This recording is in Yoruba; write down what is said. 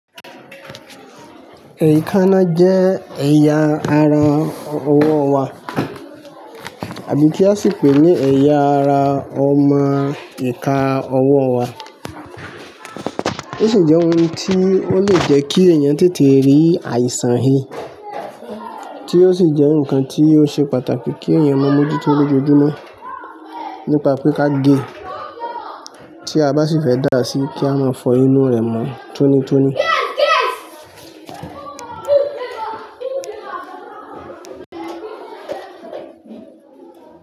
Èékánná jẹ́ ẹ̀yà ara ọwọ́ wa àbí kí a sì pè é ní ẹ̀yà ara ọmọ ìka ọwọ́ wa. Ó sì jẹ́ ohun tí ó lè jẹ́ kí èèyàn tètè rí àìsàn he tí ó sì jẹ́ nǹkan tí ó se pàtàkì kí èèyàn máa mójútó lójoojúmọ́ nípa pé ká gé tí a bá sì fẹ́ dà á síi, kí a máa fọ inú rẹ̀ mọ́ tónítóní.